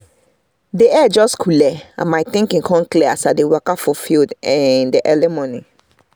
the air just cooleh and my thinking come clear as i dey waka for field in the morning